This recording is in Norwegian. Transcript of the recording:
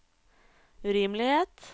urimelighet